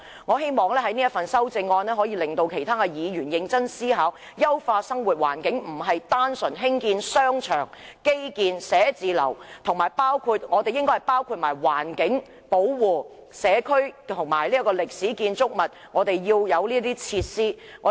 我希望我提出的修正案可以令其他議員認真思考，優化生活環境並非單純興建商場、基建、寫字樓，還應該包括保護環境、社區和歷史建築物，這些設施是必須的。